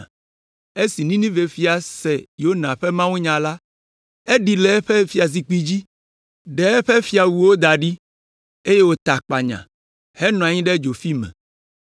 Esi Ninive fia se Yona ƒe mawunya la, eɖi le eƒe fiazikpui dzi, ɖe eƒe fiawuwo da ɖi, eye wòta akpanya henɔ anyi ɖe dzofi me.